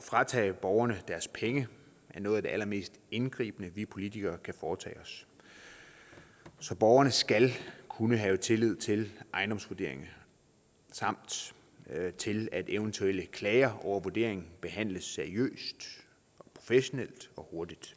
fratage borgerne deres penge er noget af det allermest indgribende vi politikere kan foretage os så borgerne skal kunne have tillid til ejendomsvurderingen samt til at eventuelle klager over vurderingen behandles seriøst og professionelt og hurtigt